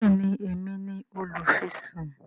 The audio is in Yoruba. béèni Èmi ní olufisun.